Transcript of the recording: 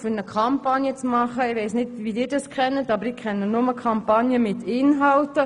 Ich weiss nicht, wie Sie Kampagnen kennen, aber ich kenne nur solche mit Inhalten.